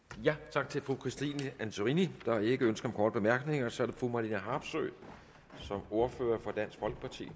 tak til fru christine antorini der er ikke ønske om korte bemærkninger og så er det fru marlene harpsøe som ordfører for dansk folkeparti